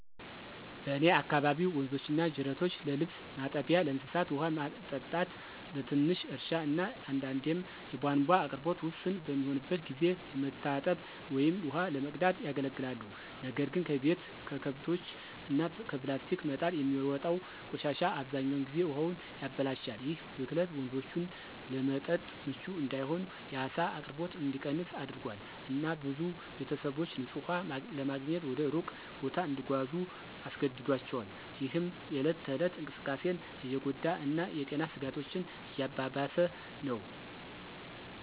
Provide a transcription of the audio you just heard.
በእኔ አካባቢ ወንዞችና ጅረቶች ለልብስ ማጠቢያ፣ ለእንስሳት ውሃ ማጠጣት፣ ለትንሽ እርሻ እና አንዳንዴም የቧንቧ አቅርቦት ውስን በሚሆንበት ጊዜ ለመታጠብ ወይም ውሃ ለመቅዳት ያገለግላሉ። ነገር ግን ከቤት፣ ከከብቶች እና ከፕላስቲክ መጣል የሚወጣው ቆሻሻ አብዛኛውን ጊዜ ውሃውን ያበላሻል። ይህ ብክለት ወንዞቹን ለመጠጥ ምቹ እንዳይሆን፣ የዓሳ አቅርቦት እንዲቀንስ አድርጓል፣ እና ብዙ ቤተሰቦች ንፁህ ውሃ ለማግኘት ወደ ሩቅ ቦታ እንዲጓዙ አስገድዷቸዋል፣ ይህም የእለት ተእለት እንቅስቃሴን እየጎዳ እና የጤና ስጋቶችን እያባባሰ ነው።